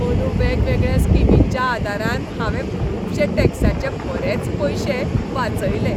अंदू वेगवेगळ्या स्किमींच्या आदारान हांवें खुबशें टॅक्साचे बरेच पयशे वाचयले.